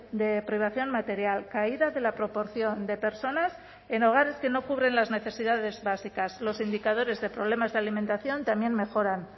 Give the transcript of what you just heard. de privación material caída de la proporción de personas en hogares que no cubren las necesidades básicas los indicadores de problemas de alimentación también mejoran